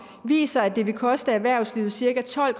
viser at det vil koste erhvervslivet cirka tolv